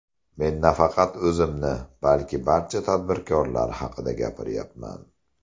Men nafaqat o‘zimni, balki barcha tadbirkorlar haqida gapiryapman.